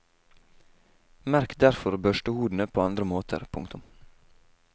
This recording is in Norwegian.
Merk derfor børstehodene på andre måter. punktum